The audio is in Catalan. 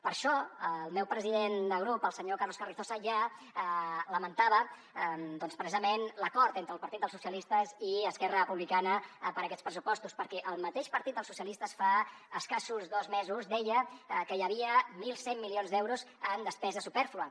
per això el meu president de grup el senyor carlos carrizosa ja lamentava doncs precisament l’acord entre el partit dels socia listes i esquerra republicana per aquests pressupostos perquè el mateix partit dels socialistes fa escassos dos mesos deia que hi havia mil cent milions d’euros en despesa supèrflua